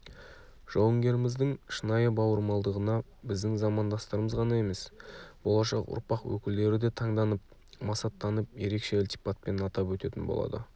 жауынгеріміздің шынайы бауырмалдығына біздің замандастарымыз ғана емес болашақ ұрпақ өкілдері де таңданып масаттанатын ерекше ілтипатпен атап өтетін болады